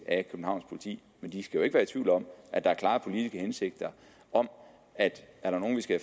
af københavns politi men de skal jo ikke være i tvivl om at der er klare politiske hensigter om at er der nogen vi skal